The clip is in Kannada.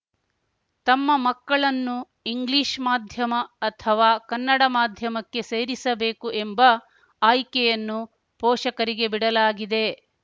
ತಮ್ಮ ಮಕ್ಕಳನ್ನು ಇಂಗ್ಲೀಷ್ ಮಾಧ್ಯಮ ಅಥವಾ ಕನ್ನಡ ಮಾಧ್ಯಮಕ್ಕೆ ಸೇರಿಸಬೇಕು ಎಂಬ ಆಯ್ಕೆಯನ್ನು ಪೋಷಕರಿಗೆ ಬಿಡಲಾಗಿದೆ